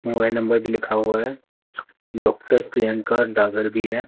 Mobile number भी लिखा हुआ है डॉक्टर प्रियंका डगर भी है।